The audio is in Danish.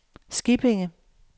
Skippinge